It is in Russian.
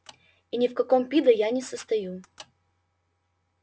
и ни в каком пидо я не состою